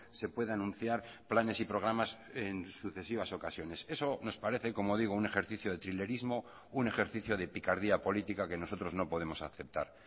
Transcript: se puede anunciar planes y programas en sucesivas ocasiones eso nos parece como digo un ejercicio de trilerismo un ejercicio de picardía política que nosotros no podemos aceptar